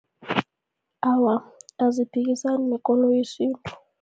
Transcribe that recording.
Awa, aziphikisani nekoloyi